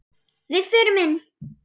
Við förum inn!